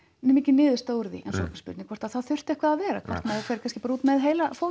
mikil niðurstaða úr því en svo er spurning hvort það þurfti eitthvað að vera hvort maður fari bara út með